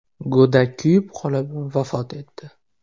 Go‘dak kuyib qolib, vafot etdi.